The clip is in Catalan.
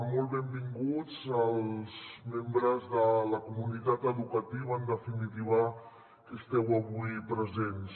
molt benvinguts els membres de la comunitat educativa en definitiva que esteu avui presents